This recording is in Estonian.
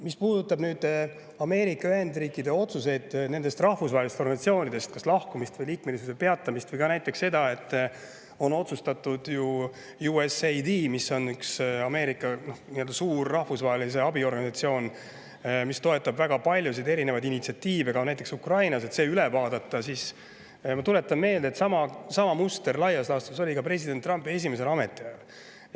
Mis puudutab Ameerika Ühendriikide otsuseid rahvusvahelistest organisatsioonidest kas lahkuda või nendes liikmelisus peatada või näiteks seda, et on otsustatud üle vaadata USAID, mis on Ameerika üks suur rahvusvahelise abi organisatsioon, mis toetab väga paljusid erinevaid initsiatiive näiteks Ukrainas, siis ma tuletan meelde, et sama muster laias laastus oli president Trumpil ka tema esimesel ametiajal.